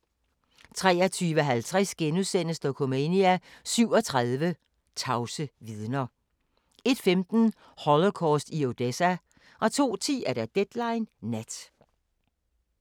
23:50: Dokumania: 37 tavse vidner * 01:15: Holocaust i Odessa 02:10: Deadline Nat